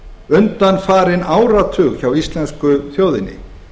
undanfarinn áratug hjá íslensku þjóðinni